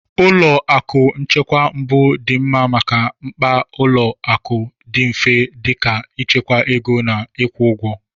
Ụlọ akụ nchekwa mbụ dị mma maka mkpa ụlọ akụ dị mfe dị ka ịchekwa ego na ịkwụ ụgwọ.